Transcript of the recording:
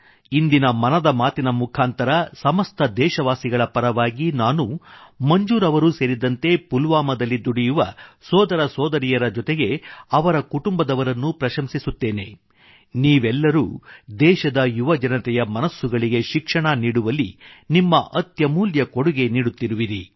ಇಂದಿನ ಮನದ ಮಾತಿನ ಮುಖಾಂತರ ಸಮಸ್ತ ದೇಶವಾಸಿಗಳ ಪರವಾಗಿ ನಾನು ಮಂಜೂರ್ ಅವರೂ ಸೇರಿದಂತೆ ಪುಲ್ವಾಮಾದಲ್ಲಿ ದುಡಿಯುವ ಸೋದರಸೋದರಿಯರ ಜೊತೆಗೆ ಅವರ ಕುಟುಂಬದವರನ್ನು ಪ್ರಶಂಸಿಸುತ್ತೇನೆ ನೀವೆಲ್ಲರೂ ದೇಶದ ಯುವ ಜನತೆಯ ಮನಸ್ಸುಗಳಿಗೆ ಶಿಕ್ಷಣ ನೀಡುವಲ್ಲಿ ನಿಮ್ಮ ಅತ್ಯಮೂಲ್ಯ ಕೊಡುಗೆ ನೀಡುತ್ತಿರುವಿರಿ